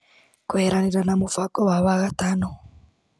Kũeheranĩra na mũbango wa wagatano.